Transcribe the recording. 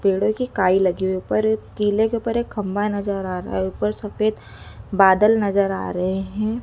पेड़ों की काई लगी हुई ऊपर किले के ऊपर एक खंभा नज़र आ रहा है ऊपर सफेद बादल नज़र आ रहे हैं।